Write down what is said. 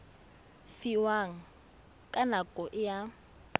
fiwang ka nako e a